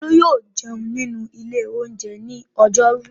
Olú yóò jẹun nínú ilé-oúnjẹ ní ọjọ́rú.